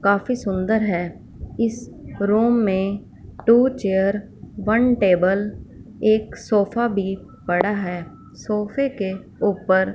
काफी सुंदर है इस रुम में टू चेयर वन टेबल एक सोफा भी पड़ा है सोफे के ऊपर--